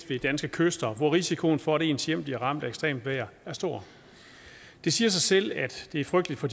ved danske kyster hvor risikoen for at ens hjem bliver ramt af ekstremt vejr er stor det siger sig selv at det er frygteligt for